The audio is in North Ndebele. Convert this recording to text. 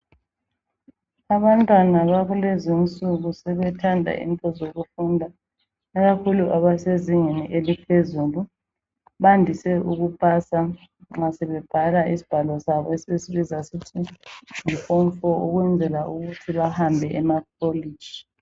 Abantwana bakulezinsuku sebethanda into zokufunda ikakhulu abasezingeni eliphezulu bandise ukupasa nxa sebebhala izibhalo zabo zase form 4 ukwenzela ukuthi bahambe emakoliji